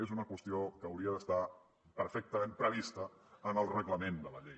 és una qüestió que hauria d’estar perfectament prevista en el reglament de la llei